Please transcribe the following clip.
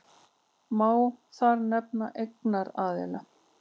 Má þar nefna eignaraðild.